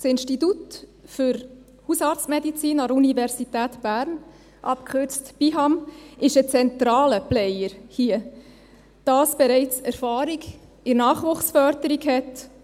Das Institut für Hausarztmedizin an der Universität Bern (BIHAM) ist hier ein zentraler Player, das bereits Erfahrung in der Nachwuchsförderung hat;